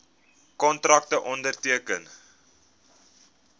kontrakte onderteken